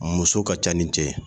Muso ka ca ni cɛ ye.